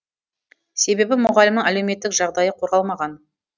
себебі мұғалімнің әлеуметтік жағдайы қорғалмаған